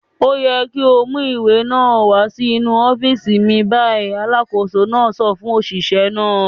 "Ó yẹ kí ó mú ìwé náà wá sínú ọ́fíísì mi báyìí!" Alákòóso náà sọ fún òṣìṣẹ́ náà.